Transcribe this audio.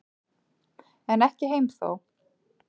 En ekki heim þó.